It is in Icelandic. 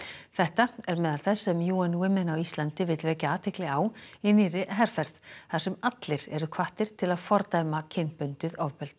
þetta er á meðal þess sem UN Women á Íslandi vill vekja athygli á í nýrri herferð þar sem allir eru hvattir til að fordæma kynbundið ofbeldi